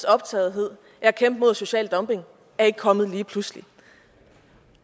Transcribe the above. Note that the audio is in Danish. optagethed af at kæmpe mod social dumping er ikke kommet lige pludselig